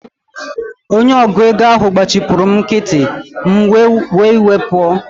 Onye ọgụ égo ahụ gbachipuru m nkịtị, m wee were iwe pụọ